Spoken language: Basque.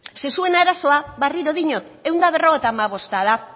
zeren zuen arazoa berriro diot ehun eta berrogeita hamabost da